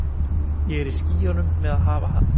Ég er í skýjunum með að hafa hann.